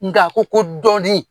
Nka a ko ko dɔ di.